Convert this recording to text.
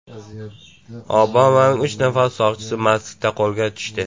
Obamaning uch nafar soqchisi mastlikda qo‘lga tushdi.